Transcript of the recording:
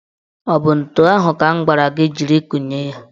Ọ bụ ntu ahụ ka m gwara gị jiri kụnye ya?